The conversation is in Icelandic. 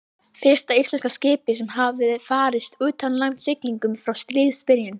Fyrsta íslenska skipið sem hafði farist í utanlandssiglingum frá stríðsbyrjun.